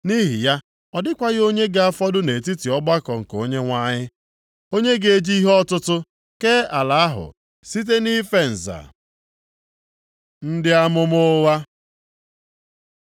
Nʼihi ya, ọ dịkwaghị onye ga-afọdụ nʼetiti ọgbakọ nke Onyenwe anyị, onye ga-eji ihe ọtụtụ kee ala ahụ site nʼife nza. Ndị amụma ụgha